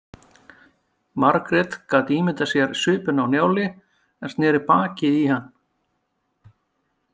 Margrét gat ímyndað sér svipinn á Njáli en sneri baki í hann.